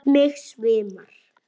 Mig svimar.